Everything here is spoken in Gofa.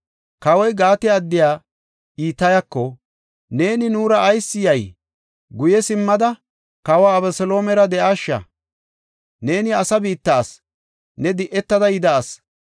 Kawoy Gaate addiya Itayako, “Neeni nuura ayis yay? Guye simmada, kawa Abeseloomera de7aasha. Neeni asa biitta asi; ne di7etada yida asi.